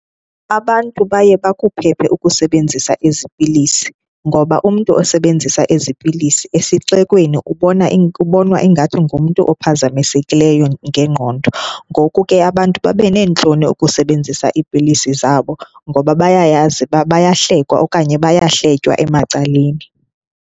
Abantu baye bakuphephe ukusebenzisa ezi pilisi ngoba umntu osebenzisa ezi pilisi esixekweni ubona, ubonwa ingathi ngumntu ophazamisekileyo ngengqondo. Ngoku ke abantu babe neentloni ukusebenzisa iipilisi zabo ngoba bayayazi uba bayahlekwe okanye bayahletywa emacaleni.